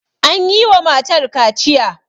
an yi wa matar kaciya